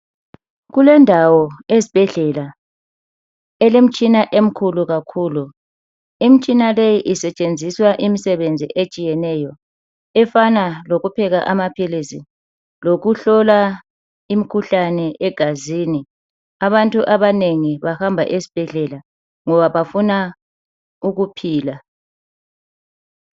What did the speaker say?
Kulendawo esibhedlela elemitshina emkhulu kakhulu .Imtshina leyi isetshenziswa imsebenzi etshiyeneyo efana lokupheka amaphilisi lokuhlola imkhuhlane egazini . Abantu abanengi bahamba esibhedlela ngoba bafuna ukuphila .